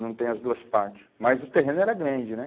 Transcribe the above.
Não tem as duas partes, mas o terreno era grande, né?